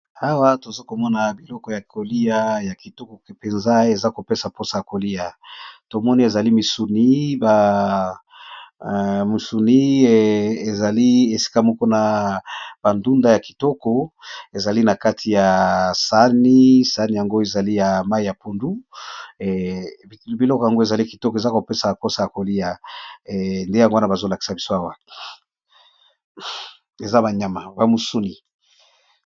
Awa toza komona biloko ya kolia ya kitoko mpenza eza kopesa mposa ya kolia tomoni ezali misunimusuni ezali esika moko na bandunda ya kitoko ezali na kati ya sani sani yango ezali ya mai ya pundu biloko yango ezali kitoko eza kopesa bmposa ya kolia nde yangowana bazolakisa biswawa eaya mabamusuni.